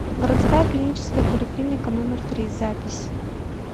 городская клиническая поликлиника номер три запись